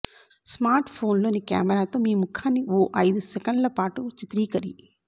స్మార్ట్ఫోన్లోని కెమెరాతో మీ ముఖాన్ని ఓ ఐదు సెకన్ల పాటు చిత్రీకరి